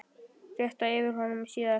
Réttað yrði yfir honum síðar.